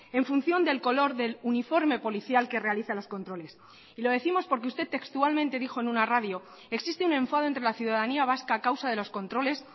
en función del color del uniforme policial que realiza los controles y lo décimos porque usted textualmente dijo en una radio existe un enfado entre la ciudadanía vasca a causa de los controles